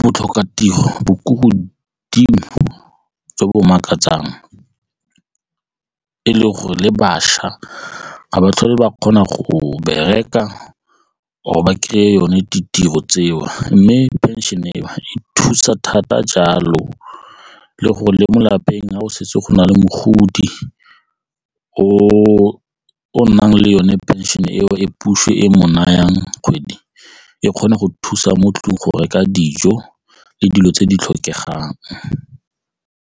botlhokatiro bo ko godimo jo bo makatsang e le gore le bašwa ga ba tlhole ba kgona go bereka or-re ba kry-a yone ditiro tseo mme pension-e e thusa thata jalo le gore le mo lapeng ga o setse go na le mogodi o o nang le yone pension-e eo e puso e mo nayang kgwedi e kgone go thusa mo 'tlong go reka dijo le dilo tse di tlhokegang.